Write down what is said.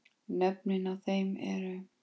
Nöfnin á þeim eru